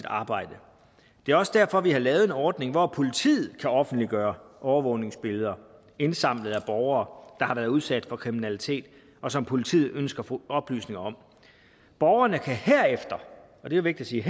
arbejde det er også derfor vi har lavet en ordning hvor politiet kan offentliggøre overvågningsbilleder indsamlet af borgere der har været udsat for kriminalitet og som politiet ønsker oplysninger om borgerne kan herefter og det er vigtigt